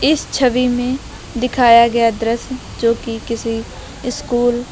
इस छवि में दिखाया गया दृश्य जो कि किसी स्कूल --